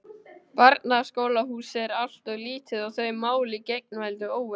Barnaskólahúsið er alltof lítið og þau mál í geigvænlegu óefni.